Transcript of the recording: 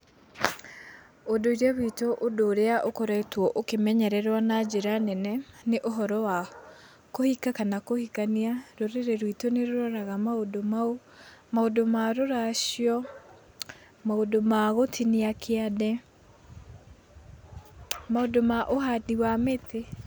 Ũndũire witũ ũndũ ũria ũkoretwo ũkĩmenyererwo na njĩra nene ní ũhoro wa kũhika kana kũhikania, rũrĩrĩ rwĩtũ nĩ rũroraga maũndu mau. Maũndũ ma rũracio, maũndu ma gũtinia kĩande, maũndũ ma ũhandi wa mĩtĩ.